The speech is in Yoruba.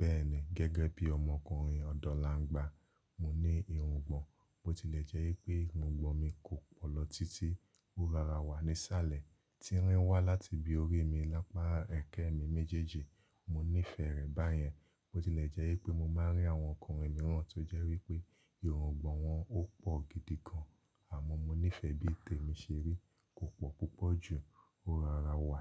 Bẹ́ẹ̀ni, gẹ́gẹ́ bí ọmọkùnrin ọ̀dọ́langba, mo ní irungbọ̀n. Bó tilẹ̀ jẹ́ wi pé irungbọ̀n mi kò pọ̀ lọ títí ó rara wa nísàlẹ̀, tí ń rí wá láti bí orí mi lápá ẹ̀kẹ́ mi méjèèjì. Mo nífẹ̀ẹ́ rẹ̀ báyẹn. Bó tilẹ̀ jẹ́ wi pé mo máa rí àwọn ọkùnrin mìíràn tó jẹ́ wípé irungbọ̀n wọn ò pọ̀ gidi gan, àmọ́ mo nífẹ̀ẹ́ bí tèmi ṣe rí. Kò pọ̀ púpọ̀ ju, ó rara wa